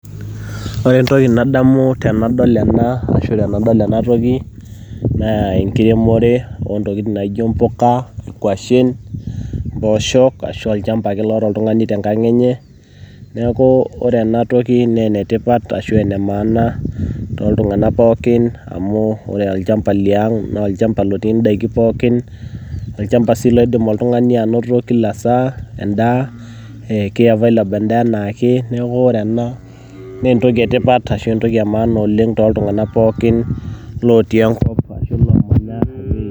Ore entoki nadamu tenadol ena toki naa enkiremore oo ntokitin naijo impuka, nkwashen mpooshok ashu olchamba ake loata ake oltung'ani te enkang' enye. Neaku ore ena toki naa enetipat ashu enemanaana toltung'anak pooki amu ore olchamba le ang naa olchamba lotii ndaikin pooki, olchamba sii loidim oltung'ani ainoto kila saa endaa keivaileb endaa aanaake. Neaku ore ena naa entoki e tipat ashu entoki e maana oleng' toltung'anak pooki lotii enkop ashu.